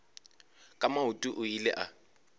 ka maoto o ile a